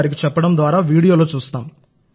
గారికి చెప్పడం ద్వారావీడియోలో చూస్తాం